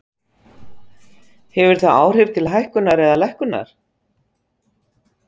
Hefur það áhrif til hækkunar eða lækkunar?